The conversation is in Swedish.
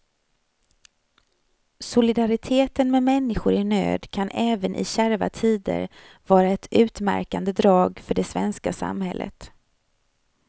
Solidariteten med människor i nöd kan även i kärva tider vara ett utmärkande drag för det svenska samhället.